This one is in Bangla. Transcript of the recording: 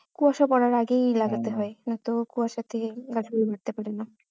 কুয়াশা পরার আগেই লাগাতে হয় নয়তো কুয়াশার থেকে গাছগুলো